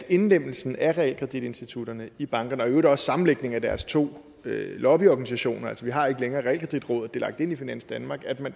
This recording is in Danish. indlemmelsen af realkreditinstitutterne i bankerne og i øvrigt også sammenlægningen af deres to lobbyorganisationer vi har ikke længere realkreditrådet lagt ind i finans danmark